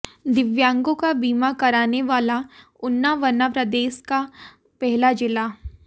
दिव्यांगों का बीमा कराने वाला ऊना बना प्रदेश का पहला जिला